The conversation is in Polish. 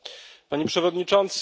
Panie Przewodniczący!